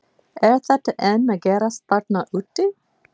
Er þetta enn að gerast þarna úti?